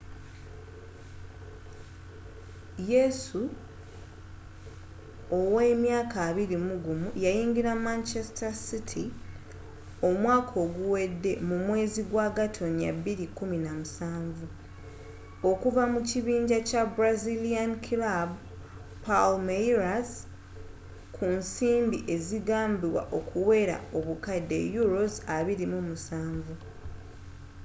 yesu owa emyaka 21 yayingira manchester city omwaka oguwede mu mwezi gwa gatonnya 2017 okuva mu kibinja kya brazilian kilaabu palmeiras ku nsimbi ezigambibwa okuwera obukadde £27